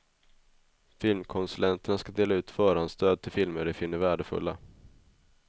Filmkonsulenterna ska dela ut förhandsstöd till filmer de finner värdefulla.